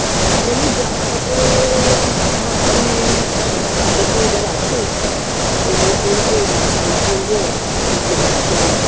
আর হোলি -র জামা কাপড়ও ভাবছি সাদা চুড়িদার আছে ঐটাই পড়বো না শাড়ি পরবো বুঝতে পারছিনা